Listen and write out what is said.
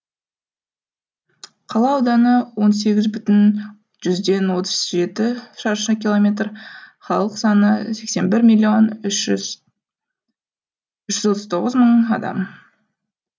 қала ауданы он сегіз бүтін жүзден отыз жеті шаршы километр халық саны сексен бір миллион үш жүз отыз тоғыз мың адам